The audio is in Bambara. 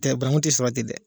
Cɛ bankun tɛ sɔrɔ ten dɛ.